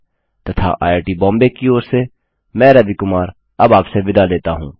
तथा आईआईटी बॉम्बे की ओर से मैं रवि कुमार अब आपसे विदा लेता हूँ